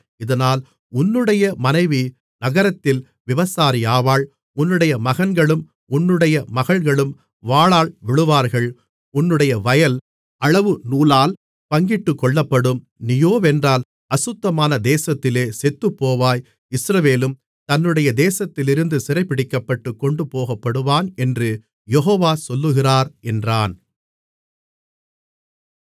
இதனால் உன்னுடைய மனைவி நகரத்தில் விபசாரியாவாள் உன்னுடைய மகன்களும் உன்னுடைய மகள்களும் வாளால் விழுவார்கள் உன்னுடைய வயல் அளவு நூலால் பங்கிட்டுக்கொள்ளப்படும் நீயோவென்றால் அசுத்தமான தேசத்திலே செத்துப்போவாய் இஸ்ரவேலும் தன்னுடைய தேசத்திலிருந்து சிறைபிடிக்கப்பட்டுக் கொண்டுபோகப்படுவான் என்று யெகோவா சொல்லுகிறார் என்றான்